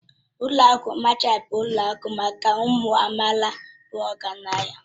Ụlọ akụ Machanti bụ ụlọ akụ maka ụmụ amaala bụ ọgaranya